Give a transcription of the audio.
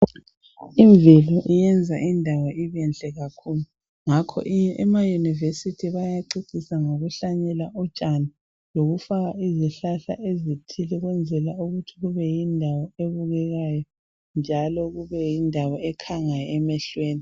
Imvelo iyenza indawo ibenhle kakhulu Ngakho emauniversity bayacecisa ngokuhlanyela utshani lokufaka izihlahla ezithile ukwenzela ukuthi kube yindawo ebukekayo njalo kube yindawo ekhangayo emehlweni .